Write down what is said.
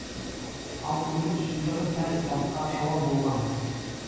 ал өмір шындығы сәл басқашалау болған